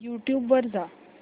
YouTube वर जा